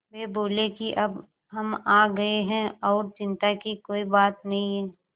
वे बोले कि अब हम आ गए हैं और चिन्ता की कोई बात नहीं है